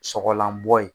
Sɔgɔlanbɔ ye